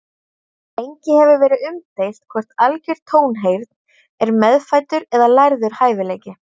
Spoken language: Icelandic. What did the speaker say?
Lengi hefur verið umdeilt hvort algjör tónheyrn er meðfæddur eða lærður hæfileiki.